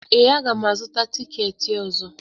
Ee, aga m azụta tikeeti ọzọ